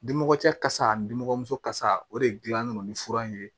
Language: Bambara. Dimɔgɔ cɛ kasa nimɔgɔmuso kasa o de dilannen don ni fura in ye